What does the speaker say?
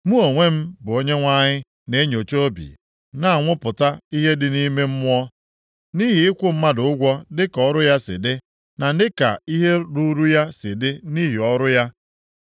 “Mụ onwe m bụ Onyenwe anyị na-enyocha obi, na-anwụpụta ihe dị nʼime mmụọ, nʼihi ịkwụ mmadụ ụgwọ dịka ọrụ ya si dị, na dịka ihe ruuru ya si dị nʼihi ọrụ ya.”